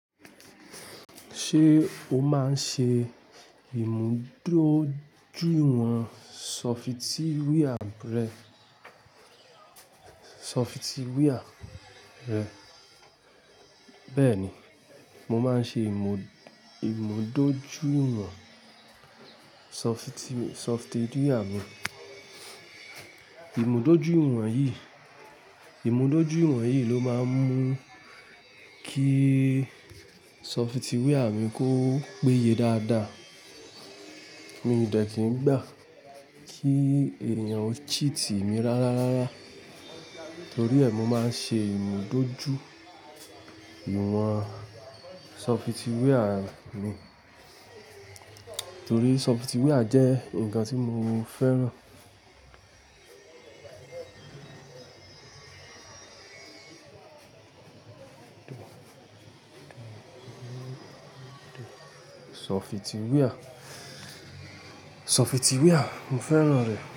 Ṣé o máa ń ṣe ìmúdójúwọ̀n software rẹ? Sọfitíwíà rẹ. Bẹ́ẹ̀ ni, mo máa ń ṣe ìmúdójúwọ̀n sọfití sọfitíwíà mi. Ìmúdójúìwọ̀n yìí, ìmúdójúìwọ̀n yìí ló máa ń mú kí sọfitíwíà mi kó péye dáadáa. Mi ò dẹ̀ kí n gbà kí èèyàn ó cheat mi rárá rárá, torí ẹ mi máa ń ṣe ìmúdójú iwọ̀n sọfitíwíà mi. Torí sọfitíwíà jẹ́ nǹkan tí mo fẹ́ràn. Sọfitíwíà, sọfitíwíà mo fẹ́ràn rẹ̀